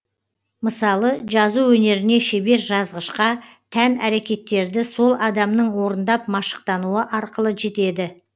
мысалы жазу өнеріне шебер жазғышқа тән әрекеттерді сол адамның орындап машықтануы арқылы жетеді